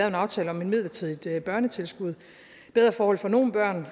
en aftale om et midlertidigt børnetilskud bedre forhold for nogle børn